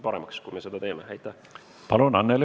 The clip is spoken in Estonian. Palun, Anneli Ott!